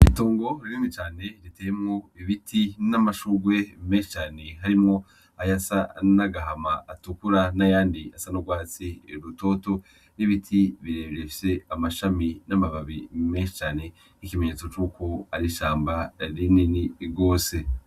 Itongo rinini cane riteyemwo ibiti n'amashurwe menshi harimwo ayasa nagahama, ayatukura nayandi asa nurwatsi rutoto n'ibiti bifise amashami n'amababi nkikimenyetso ari ishamba rinini gose.